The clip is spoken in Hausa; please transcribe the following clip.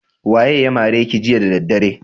Waye ya mare ki jiya da daddare?